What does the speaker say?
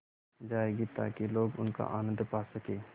जाएगी ताकि लोग उनका आनन्द पा सकें